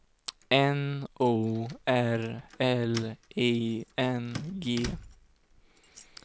N O R L I N G